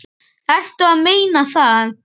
Ertu að meina það?